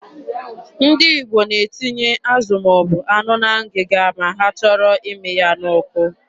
Ndị Igbo na-etinye azụ ma ọ bụ anụ na ngịga ma ha chọrọ ịmị ya n'ọkụ.